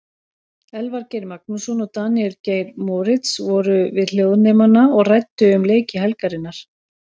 Elvar Geir Magnússon og Daníel Geir Moritz voru við hljóðnemana og ræddu um leiki helgarinnar.